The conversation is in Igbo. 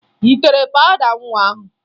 Ị tere pawụda nwa ahụ?